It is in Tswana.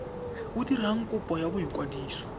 o dirang kopo ya boikwadiso